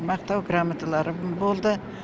мақтау граммоталарым болды